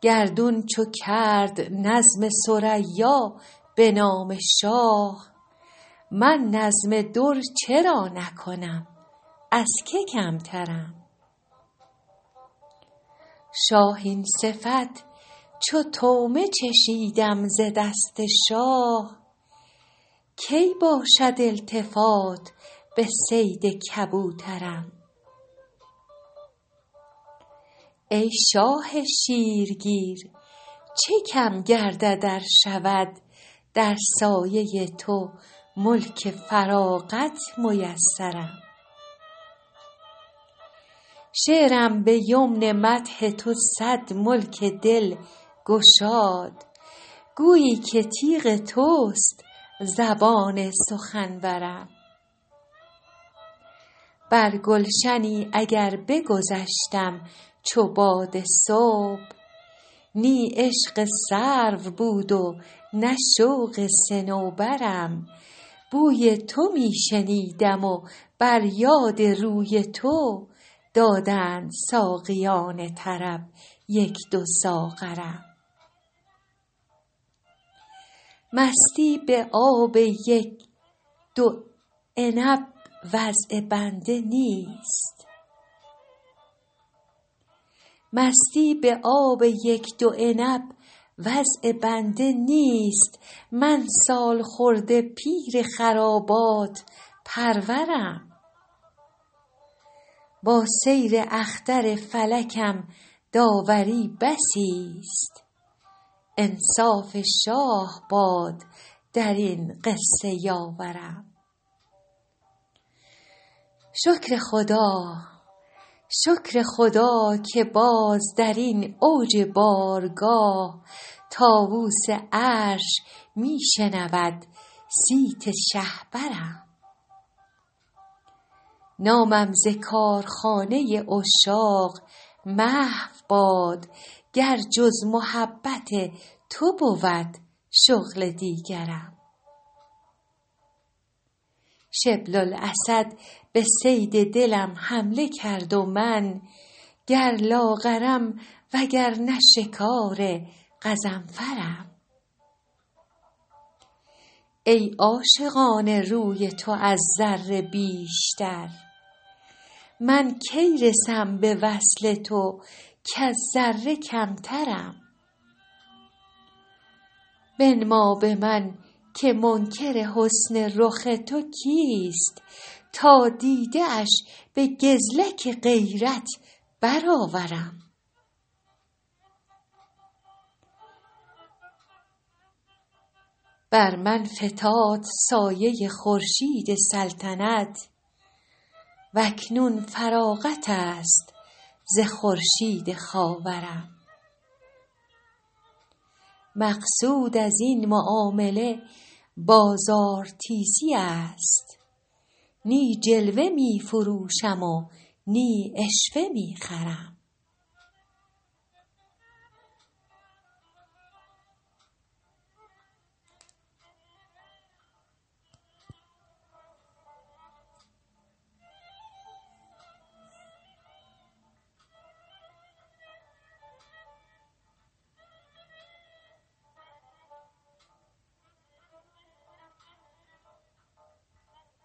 گردون چو کرد نظم ثریا به نام شاه من نظم در چرا نکنم از که کمترم شاهین صفت چو طعمه چشیدم ز دست شاه کی باشد التفات به صید کبوترم ای شاه شیرگیر چه کم گردد ار شود در سایه تو ملک فراغت میسرم شعرم به یمن مدح تو صد ملک دل گشاد گویی که تیغ توست زبان سخنورم بر گلشنی اگر بگذشتم چو باد صبح نی عشق سرو بود و نه شوق صنوبرم بوی تو می شنیدم و بر یاد روی تو دادند ساقیان طرب یک دو ساغرم مستی به آب یک دو عنب وضع بنده نیست من سالخورده پیر خرابات پرورم با سیر اختر فلکم داوری بسیست انصاف شاه باد در این قصه یاورم شکر خدا که باز در این اوج بارگاه طاووس عرش می شنود صیت شهپرم نامم ز کارخانه عشاق محو باد گر جز محبت تو بود شغل دیگرم شبل الاسد به صید دلم حمله کرد و من گر لاغرم وگرنه شکار غضنفرم ای عاشقان روی تو از ذره بیشتر من کی رسم به وصل تو کز ذره کمترم بنما به من که منکر حسن رخ تو کیست تا دیده اش به گزلک غیرت برآورم بر من فتاد سایه خورشید سلطنت و اکنون فراغت است ز خورشید خاورم مقصود از این معامله بازارتیزی است نی جلوه می فروشم و نی عشوه می خرم